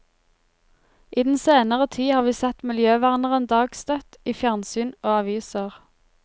I den senere tid har vi sett miljøverneren dagstøtt i fjernsyn og aviser.